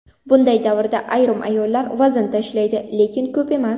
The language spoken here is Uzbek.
Bunday davrda ayrim ayollar vazn tashlaydi, lekin ko‘p emas.